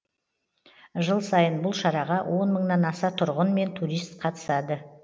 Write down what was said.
жыл сайын бұл шараға он мыңнан аса тұрғын мен турист қатысады